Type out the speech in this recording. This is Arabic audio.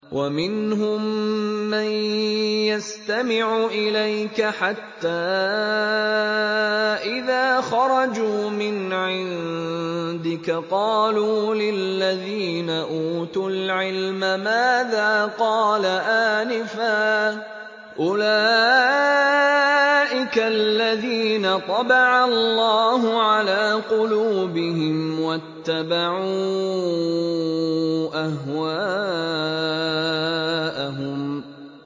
وَمِنْهُم مَّن يَسْتَمِعُ إِلَيْكَ حَتَّىٰ إِذَا خَرَجُوا مِنْ عِندِكَ قَالُوا لِلَّذِينَ أُوتُوا الْعِلْمَ مَاذَا قَالَ آنِفًا ۚ أُولَٰئِكَ الَّذِينَ طَبَعَ اللَّهُ عَلَىٰ قُلُوبِهِمْ وَاتَّبَعُوا أَهْوَاءَهُمْ